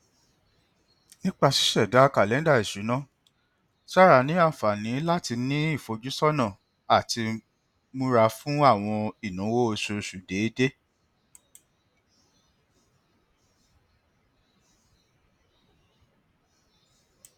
nipa ṣiṣẹda kalẹnda isuna sarah ni anfani lati ni ifojusọna ati mura fun awọn inawo oṣooṣu deede